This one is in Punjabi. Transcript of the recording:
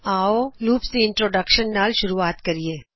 ਆਓ ਅਸੀ ਲੂਪਸ ਦੀ ਇੰਟਰੋਡਕਸ਼ਨ ਨਾਲ ਸ਼ੁਰੂਆਤ ਕਰਿਏ